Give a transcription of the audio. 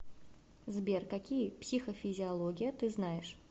сбер какие психофизиология ты знаешь